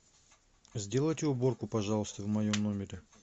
сделайте уборку пожалуйста в моем номере